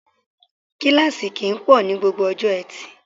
Kíláàsì kì í pọ̀ ní gbogbo ọjọ́ Etì